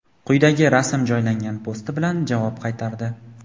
quyidagi rasm joylangan posti bilan javob qaytardi).